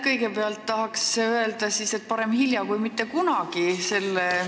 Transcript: Kõigepealt tahan selle seaduseelnõu kohta öelda, et parem hilja kui mitte kunagi.